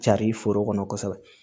Cari foro kɔnɔ kosɛbɛ